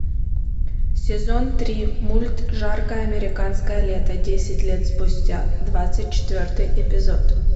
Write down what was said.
сезон три мульт жаркое американское лето десять лет спустя двадцать четвертый эпизод